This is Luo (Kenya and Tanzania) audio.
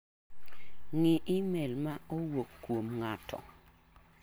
Ng'i imel ma owuok kuom ng'ato